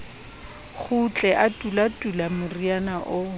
kgutle a tulatula moriana oo